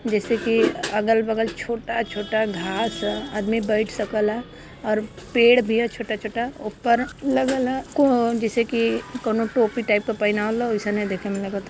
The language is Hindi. जैसे कि अगल बगल छोटा छोटा घास ह आदमी बइठ सकला और पेड़ भी ह छोटा छोटा। ओपर लगल ह कोढ़वन जैसे कि कौनो टोपी टाइप क पहिनावल ह ओईसने लागत ह।